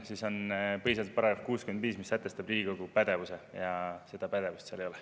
See on põhiseaduse § 65, mis sätestab Riigikogu pädevuse, ja seda pädevust seal ei ole.